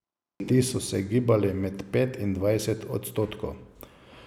Ti so se gibali med pet in dvajset odstotkov.